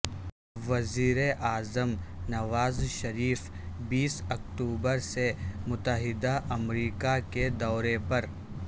وزیراعظم نواز شریف بیس اکتوبر سے متحدہ امریکہ کے دورے پر